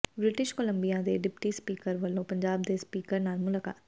British Columbia ਦੇ deputy speaker ਵੱਲੋਂ ਪੰਜਾਬ ਦੇ ਸਪੀਕਰ ਨਾਲ ਮੁਲਾਕਾਤ